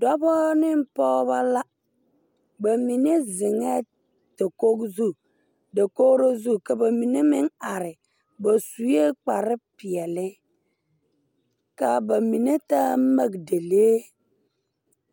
Dɔbɔ ne pogebɔ la ba mine zeŋɛɛ dakoge zu dakogro zu ka mine meŋ are ba zuee kparepeɛɛli kaa ba mine taa magdelee